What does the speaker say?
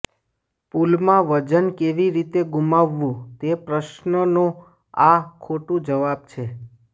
પૂલમાં વજન કેવી રીતે ગુમાવવું તે પ્રશ્નનો આ ખોટું જવાબ છે